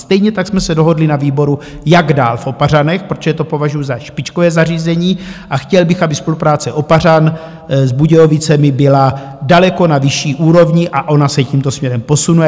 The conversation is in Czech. Stejně tak jsme se dohodli na výboru, jak dál v Opařanech, protože to považuju za špičkové zařízení a chtěl bych, aby spolupráce Opařan s Budějovicemi byla daleko na vyšší úrovni, a ona se tímto směrem posunuje.